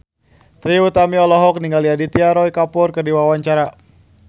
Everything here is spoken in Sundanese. Trie Utami olohok ningali Aditya Roy Kapoor keur diwawancara